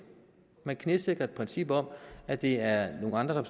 man knæsætter et princip om at det er nogle andre